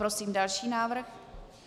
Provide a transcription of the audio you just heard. Prosím další návrh.